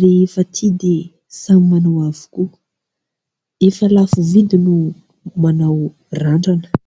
rehefa tia dia samy manao avokoa . Efa lafo vidy no manao randrana.